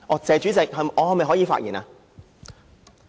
"謝主席"，我可否發言？